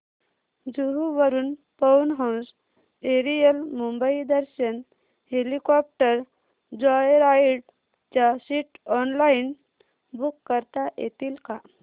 जुहू वरून Pawan Hans aerial Mumbai Darshan helicopter joyride च्या seats online book करता येतील का